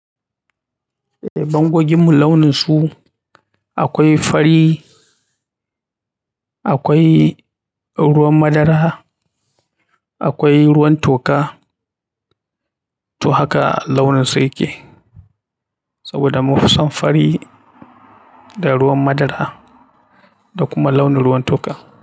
Eh bangogin mu launin su. Akwai fari, akwai ruwan madara, akwai ruwan toka to haka launin su ya ke. Saboda mun fi son fari da ruwan madara da kuma launin ruwan toka.